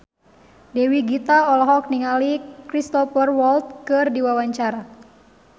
Dewi Gita olohok ningali Cristhoper Waltz keur diwawancara